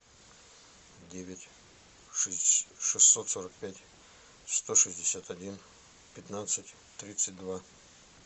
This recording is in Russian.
девять шестьсот сорок пять сто шестьдесят один пятнадцать тридцать два